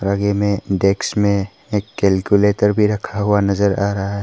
आगे में डेस्क में एक कैलकुलेटर भी रखा हुआ नजर आ रहा है।